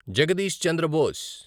Jagadish Chandra Bose